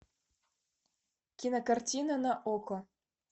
кинокартина на окко